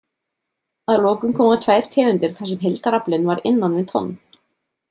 Að lokum koma tvær tegundir þar sem heildaraflinn var innan við tonn.